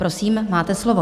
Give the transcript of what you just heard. Prosím, máte slovo.